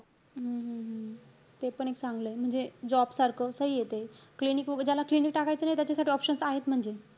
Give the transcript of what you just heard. हम्म हम्म हम्म तेपण एक चांगलंय. म्हणजे job सारखं सहीये त. Clinic वैगेरे, ज्याला clinic टाकायचं नाहीये त्याच्यासाठी options आहेत म्हणजे.